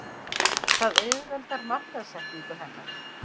Það auðveldar markaðssetningu hennar.